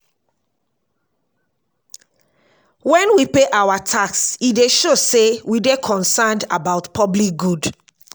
when we pay our tax e dey show sey we dey concerned about public good